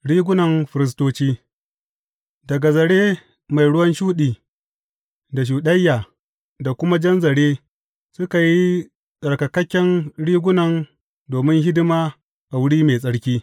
Rigunan firistoci Daga zare mai ruwan shuɗi, da shuɗayya da kuma jan zare suka yi tsarkaken rigunan domin hidima a wuri mai tsarki.